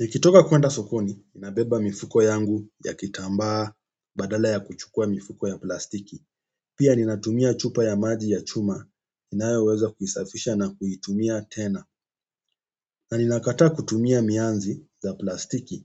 Nekitoka kuenda sokoni, ninabeba mifuko yangu ya kitambaa badala ya kuchukua mifuko ya plastiki. Pia ninatumia chupa ya maji ya chuma, ninayoweza kuisafisha na kuitumia tena. Na ninakataa kutumia mianzi za plastiki.